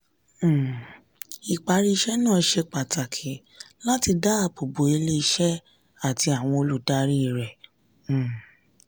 um ìparí iṣẹ́ náà ṣe pàtàkì láti dáàbò bo ilé-iṣẹ́ àti àwọn olùdarí rẹ̀. um